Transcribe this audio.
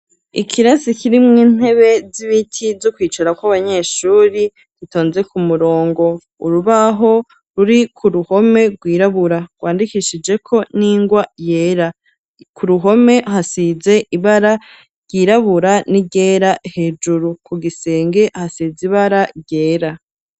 Ikirasi kirimwo intebe z'ibiti, zo kwicarako abanyeshuri, zitonze ku murongo; urubaho ruri ku ruhome rwirabura, rwandikishijeko n'ingwa yera; ku ruhome hasize ibara ryirabura n'iryera, hejuru ku gisenge hasize ibara ryera.